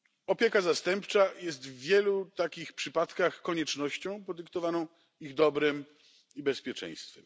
Opieka zastępcza jest w wielu takich przypadkach koniecznością podyktowaną ich dobrem i bezpieczeństwem.